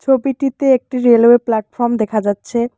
ছবিটিতে একটি railway platform দেখা যাচ্ছে।